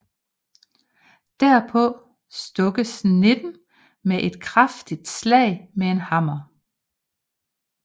Derpå stukkes nitten med et kraftigt slag med en hammer